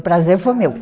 O prazer foi meu.